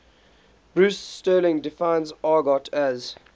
bruce sterling defines argot as